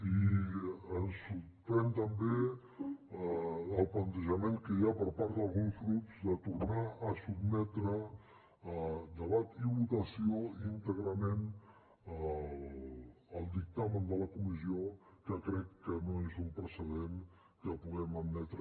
i ens sorprèn també el plantejament que hi ha per part d’alguns grups de tornar a sotmetre a debat i votació íntegrament el dictamen de la comissió que crec que no és un precedent que puguem admetre